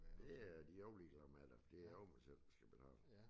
Det er de er jo ligeglade med det det er jo mig selv der skal betale